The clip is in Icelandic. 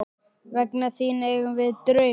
Vegna þín eigum við drauma.